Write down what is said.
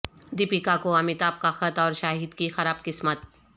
دیپیکا کو امیتابھ کا خط اور شاہد کی خراب قسمت